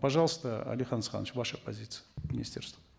пожалуйста алихан асханович ваша позиция министерства